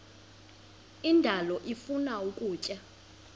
indalo ifuna ukutya